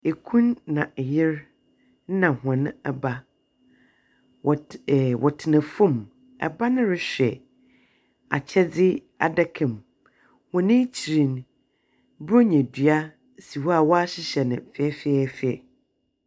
Kun na yer na hɔn ba, wɔtse ɛɛ wɔtsena fam. Ba no rohwɛ akyɛdze adaka mu, hɔn ekyir no, borɔnya dua si hɔ a wɔahyehyɛ no fɛfɛɛfɛ.